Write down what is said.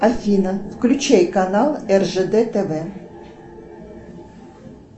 афина включай канал ржд тв